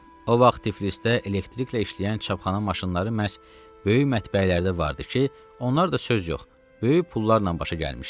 O vaxt Tiflisdə elektriklə işləyən çapxana maşınları məhz böyük mətbəələrdə vardı ki, onlar da söz yox, böyük pullarla başa gəlmişdi.